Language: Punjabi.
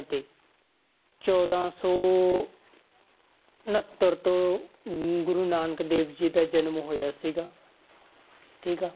ਤੇ ਚੌਦਾਂ ਸੌ ਉਣਤਰ ਤੋਂ ਨ~ ਗੁਰੂ ਨਾਨਕ ਦੇਵ ਜੀ ਦਾ ਜਨਮ ਹੋਇਆ ਸੀਗਾ ਠੀਕ ਆ,